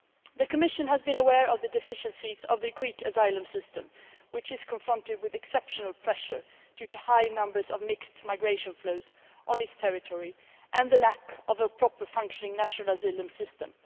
The Commission has been aware of the deficiencies of the Greek asylum system, which is confronted with exceptional pressure due to high numbers of mixed migration flows on its territory and the lack of a proper functioning national asylum system.